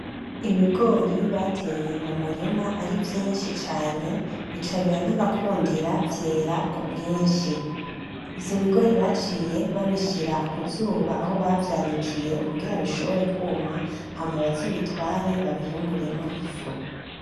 Ibigori bateye m'umurima ari vyinshi cane bica biranabakundira vyera kubwinshi, gusa ibigori baciye babishira kuzuba aho bavyanikiye kugira bishobore kuma bazobitware babihunguremwo ifu.